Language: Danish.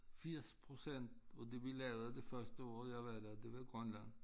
80% af det vi lavede det første år jeg var der det var Grønland